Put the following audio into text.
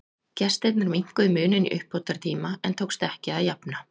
Gestirnir minnkuðu muninn í uppbótartíma en tókst ekki að jafna.